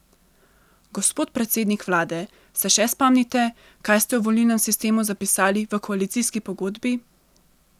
Gospod predsednik vlade, se še spomnite, kaj ste o volilnem sistemu zapisali v koalicijski pogodbi?